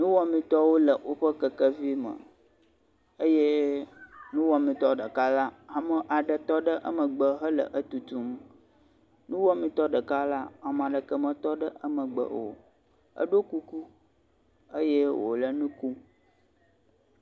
Nuwɔmetɔwo le woƒe kekevi me eye nuwɔmetɔ ɖeka la ame aɖe tɔ ɖe emgeb hele etutum. Nuwɔmetɔ ɖeka la, ame aɖeke metɔ ɖe emegbe o. eɖo kuku eye wo le nu ku.